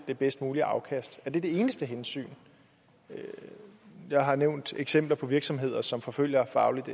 det bedst mulige afkast er det det eneste hensyn jeg har nævnt eksempler på virksomheder som forfølger fagligt